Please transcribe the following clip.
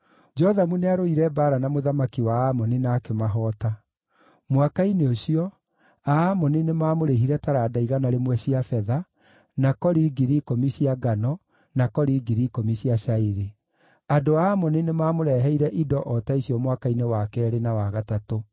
Jothamu nĩarũire mbaara na mũthamaki wa Amoni na akĩmahoota. Mwaka-inĩ ũcio, Aamoni nĩmamũrĩhire taranda igana rĩmwe cia betha, na kori 10,000 cia ngano, na kori 10,000 cia cairi. Andũ a Amoni nĩmamũreheire indo o ta icio mwaka-inĩ wa keerĩ na wa gatatũ.